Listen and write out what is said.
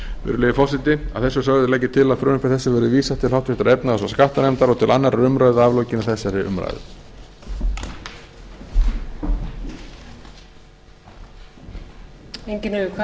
virðulegi forseti að þessu sögðu legg ég til að frumvarpi þessu verði vísað til háttvirtrar efnahags og skattanefndar og til annarrar umræðu að aflokinni þessari umræðu